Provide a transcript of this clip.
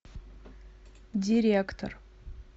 директор